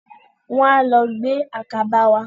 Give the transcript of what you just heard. Wọ́n á lọ gbé àkàbà wá.